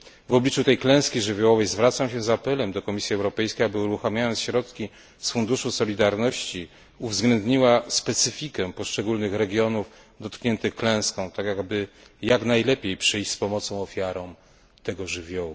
W obliczu tej klęski żywiołowej zwracam się z apelem do Komisji Europejskiej, aby uruchamiając środki z Funduszu Solidarności, uwzględniła specyfikę poszczególnych regionów dotkniętych klęską, tak by jak najlepiej przyjść z pomocą ofiarom tego żywiołu.